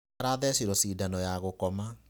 Arathecirwo cindano ya gũkoma.